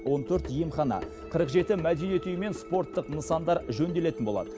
он төрт емхана қырық жеті мәдениет үйі мен спорттық нысандар жөнделетін болады